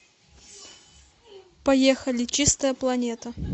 поехали чистая планета